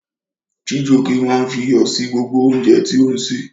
Chijioke máa ń fi iyọ̀ sí gbogbo oúnjẹ tí ó ń sè.